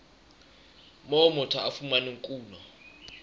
moo motho a fumanang kuno